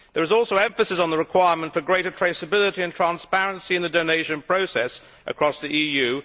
There is also emphasis on the requirement for greater traceability and transparency in the donation process across the EU.